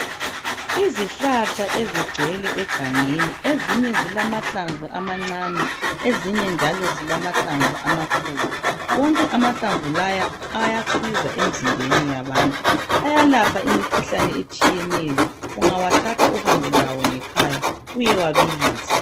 Izihlahla ezigcwele egangeni. Ezinye zilamahlamvu amancane. Ezinye njalo zilamahlamvu amakhulu. Wonke amahlamvu laya ayasiza emizimbeni yabantu. Ayalapha imikhuhlane etshiyeneyo, ungawathatha uhambelawo ngekhaya uyewabilisa.